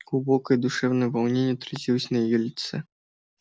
глубокое душевное волнение отразилось на её лице